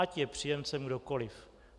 Ať je příjemcem kdokoli.